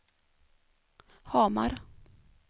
Hamar